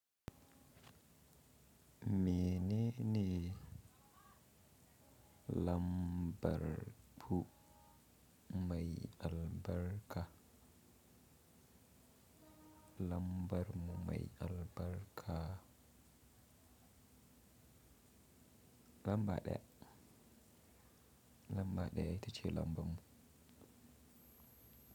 Menene lambar bu mai albarka? Lambar mu mai albarka lamba ɗaya. Lamba ɗaya ita ce lambar mu.